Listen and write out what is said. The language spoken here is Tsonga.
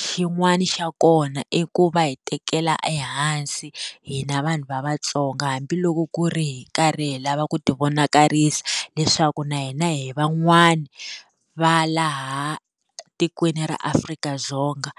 xin'wana xa kona i ku va hi tekela ehansi hina vanhu va Vatsonga hambi ku ri loko hi karhi hi lava ku ti vonakarisa leswaku na hina hi van'wana va laha tikweni ra Afrika-Dzonga.